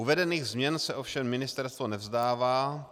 Uvedených změn se ovšem ministerstvo nevzdává.